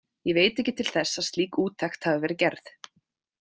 Ég veit ekki til þess að slík úttekt hafi verið gerð.